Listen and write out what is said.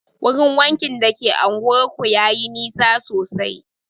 Wurin wankin da ke anguwar ku yayi nisa sosai